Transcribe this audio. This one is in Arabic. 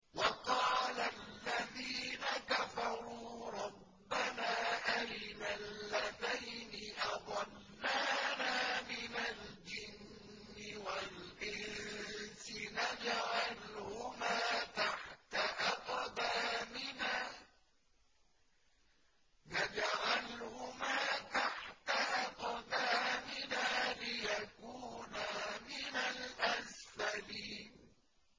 وَقَالَ الَّذِينَ كَفَرُوا رَبَّنَا أَرِنَا اللَّذَيْنِ أَضَلَّانَا مِنَ الْجِنِّ وَالْإِنسِ نَجْعَلْهُمَا تَحْتَ أَقْدَامِنَا لِيَكُونَا مِنَ الْأَسْفَلِينَ